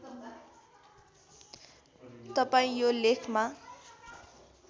तपाईँ यो लेखमा